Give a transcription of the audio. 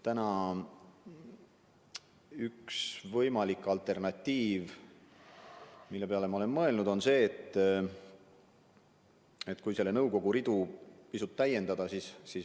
Üks võimalik alternatiiv, mille peale ma olen mõelnud, on selle nõukogu ridu pisut täiendada.